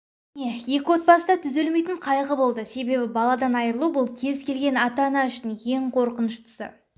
міне екі отбасыда түзелмейтін қайғы болды себебі баладан айырылу бұл кез келген ата-ана үшін ең қорқыныштысы